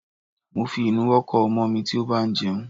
Mo fi ìnuwọ́ kọ́ ọmọ mi tí ó bá ń jẹun.